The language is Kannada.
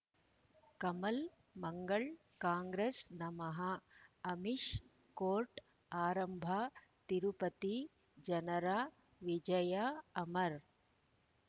ಕಮಲ್ ಮಂಗಳ್ ಕಾಂಗ್ರೆಸ್ ನಮಃ ಅಮಿಷ್ ಕೋರ್ಟ್ ಆರಂಭ ತಿರುಪತಿ ಜನರ ವಿಜಯ ಅಮರ್